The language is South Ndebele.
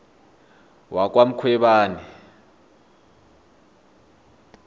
wakwamkhwebani